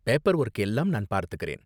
Paperwork எல்லாம் நான் பார்த்துக்கறேன்.